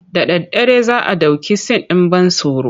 Da daddare za a ɗauki sin ɗin ban tsoro.